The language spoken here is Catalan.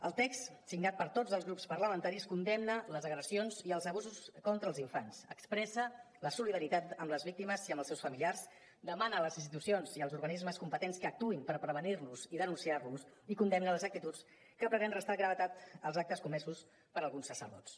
el text signat per tots els grups parlamentaris condemna les agressions i els abusos contra els infants expressa la solidaritat amb les víctimes i amb els seus familiars demana a les institucions i als organismes competents que actuïn per prevenir los i denunciar los i condemna les actituds que pretenen restar gravetat als actes comesos per alguns sacerdots